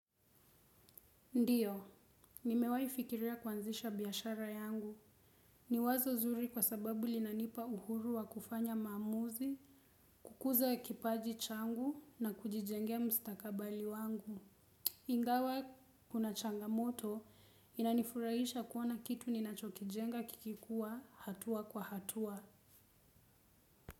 Ndiyo, nimewai fikiria kuanzisha biashara yangu. Ni wazo zuri kwa sababu linanipa uhuru wa kufanya maamuzi, kukuza ya kipaji changu na kujijengea mstakabali wangu. Ingawa kuna changamoto, inanifurahisha kuoana kitu ninachokijenga kikikua hatua kwa hatua.